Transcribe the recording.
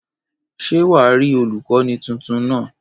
Ṣé wà á rí olùkọ́ni tuntun náà?